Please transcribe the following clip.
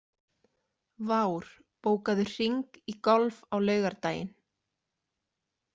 Vár, bókaðu hring í golf á laugardaginn.